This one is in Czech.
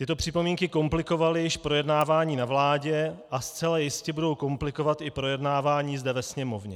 Tyto připomínky komplikovaly již projednávání na vládě a zcela jistě budou komplikovat i projednávání zde ve Sněmovně.